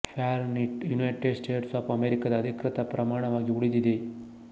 Fahrenheit United States of ಅಮೆರಿಕಾದ ಅಧಿಕೃತ ಪ್ರಮಾಣವಾಗಿ ಉಳಿದಿದೆ